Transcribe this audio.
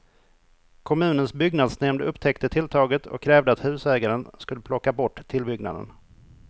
Kommunens byggnadsnämnd upptäckte tilltaget och krävde att husägaren skulle plocka bort tillbyggnaden.